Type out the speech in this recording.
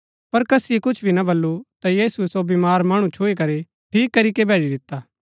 पर कसीये कुछ भी ना बल्लू ता यीशुऐ सो बीमार मणु छुई करी ठीक करीके भैजी दिता